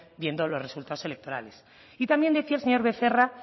viendo los resultados electorales y también decía el señor becerra